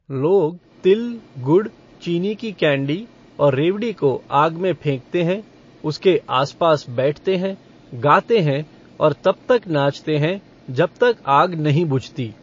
लोग तिल, गुड़, चीनी की कैंडी और रेवड़ी को आग में फेंकते हैं, उसके आसपास बैठते हैं, गाते हैं और तब तक नाचते हैं जब तक आग नहीं बुझती।